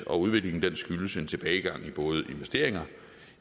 og udviklingen skyldes en tilbagegang